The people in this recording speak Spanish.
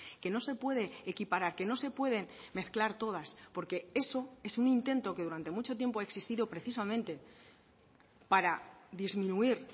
que no se puede equiparar que no se pueden mezclar todas porque eso es un intento que durante mucho tiempo ha existido precisamente para disminuir